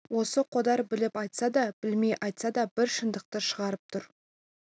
осы қодар біліп айтса да білмей айтса да бір шындықты шығарып тұр